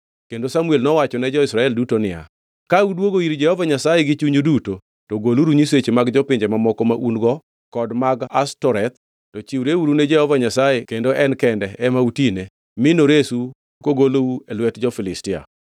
Kendo Samuel nowachone jo-Israel duto niya, “Ka udwogo ir Jehova Nyasaye gi chunyu duto, to goluru nyiseche mag jopinje mamoko ma un-go kod mag Ashtoreth, to chiwreuru ni Jehova Nyasaye kendo en kende ema utine, mi noresu kogolou e lwet jo-Filistia.”